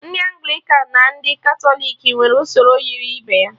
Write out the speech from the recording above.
Ndị Anglịkan na ndị Katọlik nwere usoro yiri ibe ya